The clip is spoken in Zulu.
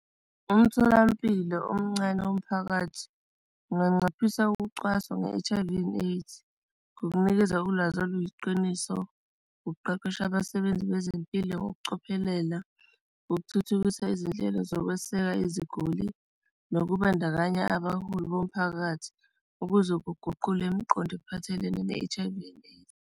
Umtholampilo omncane womphakathi unganciphisa ukucwaswa nge-H_I_V and AIDS kukunikeza ulwazi oluyiqiniso, ukuqeqesha abasebenzi bezempilo ngokucophelela, ukuthuthukisa izinhlelo zokweseka iziguli, nokubandakanya abaholi bomphakathi ukuze kuguqule imiqondo ephathelene ne-H_I_V and AIDS.